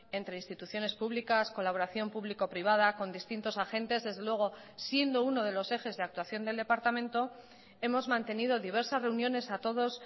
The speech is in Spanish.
entre instituciones públicas colaboración público privada con distintos agentes desde luego siendo uno de los ejes de actuación del departamento hemos mantenido diversas reuniones a todos